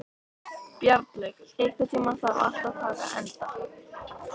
Bjarnlaug, einhvern tímann þarf allt að taka enda.